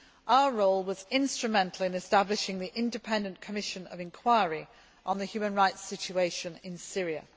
Our role was instrumental in establishing the Independent Commission of Inquiry on the human rights situation in Syria.